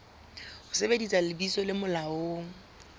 ho sebedisa lebitso le molaong